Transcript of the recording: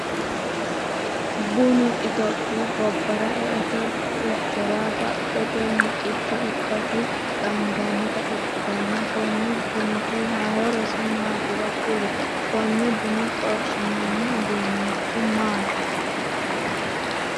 Bunnu itophiyu gobara e'eote buichora badhate miqicho ikasi qaangannita ikitanna konni bunniti horosi maatiro kuli? Konne bunna xorshinoonni uduunichi maati?